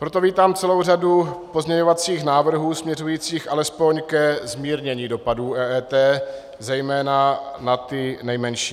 Proto vítám celou řadu pozměňovacích návrhů směřujících alespoň ke zmírnění dopadů EET, zejména na ty nejmenší.